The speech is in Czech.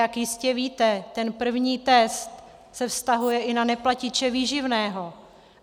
Jak jistě víte, ten první test se vztahuje i na neplatiče výživného.